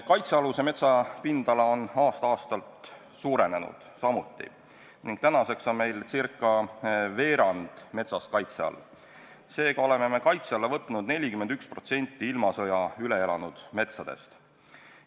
Kaitsealuse metsa pindala on aasta-aastalt samuti suurenenud ning tänaseks on meil ca veerand metsast kaitse all, seega oleme kaitse alla võtnud 41% ilmasõja üle elanud metsast.